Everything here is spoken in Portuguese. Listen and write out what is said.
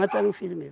um filho meu.